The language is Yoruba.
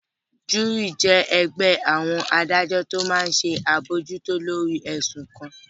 Júúrì jẹ́ ẹgbẹ́ àwọn adájọ́ tó máa n ṣe àbojútó lórí ẹ̀sùn kan